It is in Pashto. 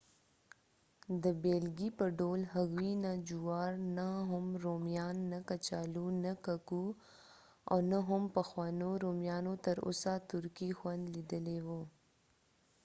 د بیلګې په ډول هغوی نه جوار نه هم رومیان نه کچالو نه ککو او نه هم پخوانیو رومیانو تر اوسه ترکي خوند لیدلی وو